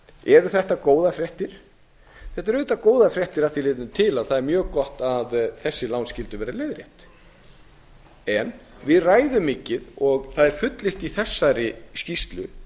eru þetta góðar fréttir þetta eru auðvitað góðar fréttir að því leytinu til að það er mjög gott að þessi lán skyldu vera leiðrétt en við ræðum mikið og það er fullyrt í þessari skýrslu